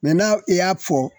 n'a i y'a fɔ